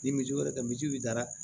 Ni misi wɛrɛ tɛ misi da la